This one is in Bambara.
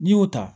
N'i y'o ta